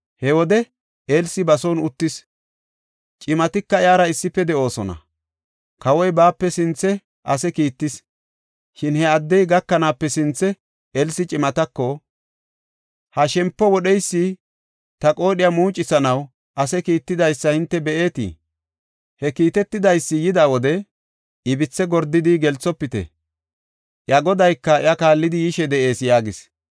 He wode Elsi ba son uttis; cimatika iyara issife de7oosona. Kawoy baape sinthe ase kiittis; shin he addey gakanaape sinthe, Elsi cimatako, “Ha shempo wodheysi ta qoodhiya muucisanaw ase kiittidaysa hinte be7eetii? He kiitetidaysi yida wode ibithe gordidi gelsofite; iya godayka iya kaallidi yishe de7ees” yaagis.